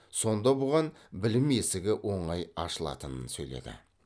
сонда бұған білім есігі оңай ашылатынын сөйледі